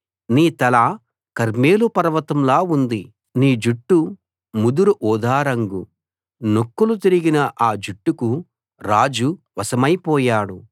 నీ తల కర్మెలు పర్వతంలా ఉంది నీ జుట్టు ముదురు ఊదా రంగు నొక్కులు తిరిగిన ఆ జుట్టుకు రాజు వశమైపోయాడు